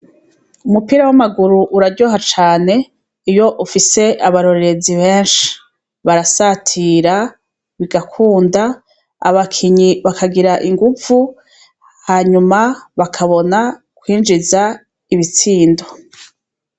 Umupira w'amaguru uraryoha cane iy'ufise abarorerezi beshi. Barasatira bigakunda abakinyi bakagira inguvu hanyuma bakabona kwinjiza ibitsindo.